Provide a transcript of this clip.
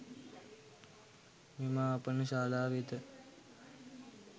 මෙම ආපනශාලා වෙත